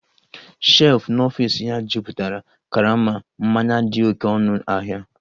shelf n'ọfịs ya jupụtara karama mmanya dị oké ọnụ ahịa